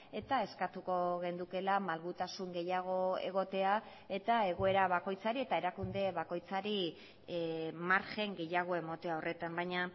eta eskatuko genukeela malgutasun gehiago egotea eta egoera bakoitzari eta erakunde bakoitzari margen gehiago ematea horretan baina